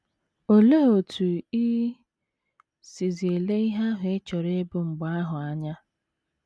Olee otú i sizi ele ihe ahụ ị chọrọ ịbụ mgbe ahụ anya?